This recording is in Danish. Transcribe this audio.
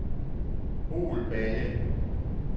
Holballe